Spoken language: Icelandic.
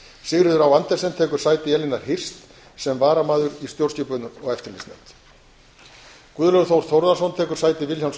sigríður á andersen tekur sæti elínar hirst sem varamaður í stjórnskipunar og eftirlitsnefnd guðlaugur þór þórðarson tekur sæti vilhjálms